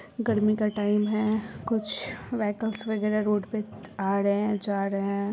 गर्मी का टाइम है कुछ व्हीकल्स वगैरा रोड पे आ रहे है जा रहे है।